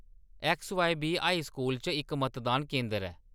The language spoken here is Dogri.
ऐक्सबीवाई हाई स्कूल च इक मतदान केंदर ऐ।